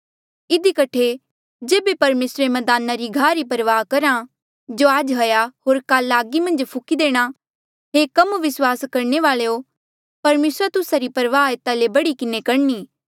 इधी कठे जेबे परमेसर मदाना रे घाह री परवाह करहा जो आज हाया होर जो काला आगी मन्झ फुकी देणा हे कम विस्वास रखणे वाल्यो परमेसरा तुस्सा री परवाह एता ले भी बढ़ी किन्हें करणी